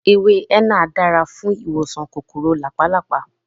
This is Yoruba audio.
Ewé énà dáa fún ìwòsàn kòkòrò làpálàpá